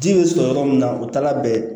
Ji bɛ sɔrɔ yɔrɔ min na o taala bɛn